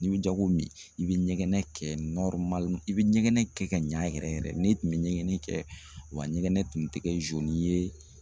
N'i bɛ jago min i bɛ ɲɛgɛn kɛ i bɛ ɲɛgɛn kɛ ka ɲɛ yɛrɛ yɛrɛ n'i tun bɛ ɲɛgɛn kɛ wa ɲɛgɛn tun tɛ kɛ ye